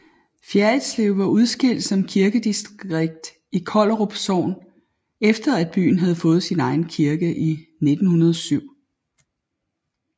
Fjerritslev var udskilt som kirkedistrikt i Kollerup Sogn efter at byen havde fået egen kirke i 1907